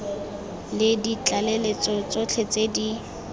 le ditlaleletso tsotlhe tse di